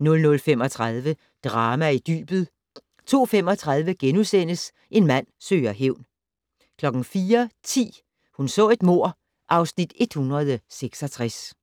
00:35: Drama i dybet 02:35: En mand søger hævn * 04:10: Hun så et mord (Afs. 166)